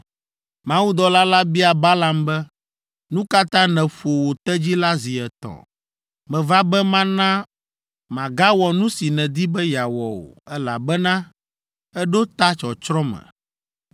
Mawudɔla la bia Balaam be, “Nu ka ta nèƒo wò tedzi la zi etɔ̃? Meva be mana màgawɔ nu si nèdi be yeawɔ o, elabena èɖo ta tsɔtsrɔ̃ me.